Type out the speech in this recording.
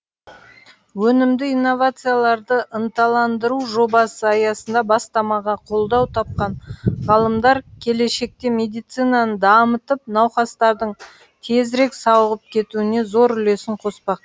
өнімді инновацияларды ынталандыру жобасы аясында бастамаға қолдау тапқан ғалымдар келешекте медицинаны дамытып науқастардың тезірек сауығып кетуіне зор үлесін қоспақ